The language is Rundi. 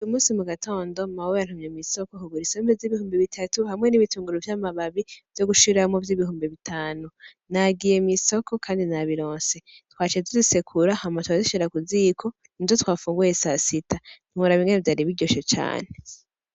Uyumusi mugatondo mawe yantumye kw'isoko ngura isombe zibihumbi bitatu hamwe n'ibitunguru vy' amababi vyogushiramwo vy' ibihumbi bitanu nagiye mw'isoko kandi nabironse, twaciye tuzisekura hama turazishira kuziko nizo twafunguye sasita ntiworaba ingene vyari biryoshe cane.